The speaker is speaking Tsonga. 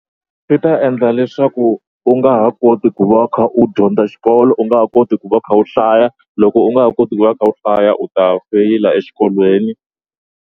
Swi ta endla leswaku u nga ha koti ku va u kha u dyondza xikolo u nga ha koti ku va u kha u hlaya loko u nga ha koti ku va u kha u hlaya u ta feyila exikolweni.